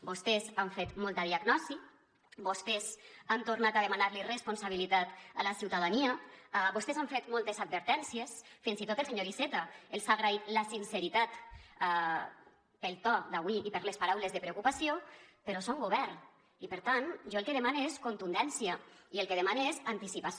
vostès han fet molta diagnosi vostès han tornat a demanar li responsabilitat a la ciutadania vostès han fet moltes advertències fins i tot el senyor iceta els ha agraït la sinceritat pel to d’avui i per les paraules de preocupació però són govern i per tant jo el que demane és contundència i el que demane és anticipació